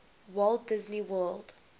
walt disney world